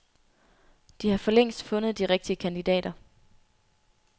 De har for længst fundet de rigtige kandidater.